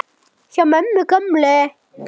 Hjá mömmu gömlu?!